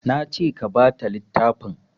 Nace ka bata littafin